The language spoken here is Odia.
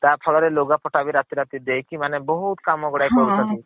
ତା ଛଡା ବି ଲୁଗା ପଟା ବି ରାତା ରାତି ଦେଇକି ମାନେ ବହୁତ୍ କାମ ଗୁଡାକ କରି ଦୌଛନ୍ତି ହଁ।